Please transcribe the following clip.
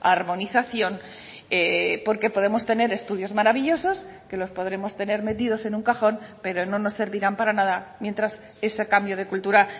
armonización porque podemos tener estudios maravillosos que los podremos tener metidos en un cajón pero no nos servirán para nada mientras ese cambio de cultura